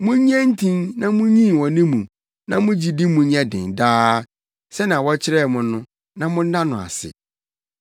Munnye ntin na munyin wɔ ne mu; na mo gyidi mu nyɛ den daa, sɛnea wɔkyerɛɛ mo no, na monna no ase.